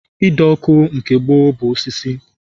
Ide ọkụ nke gboo bụ osisi